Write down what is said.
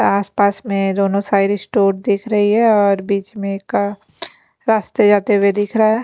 आस पास में दोनों साइड स्टोर दिख रही है और बीच में का रास्ते जाते हुए दिख रहा--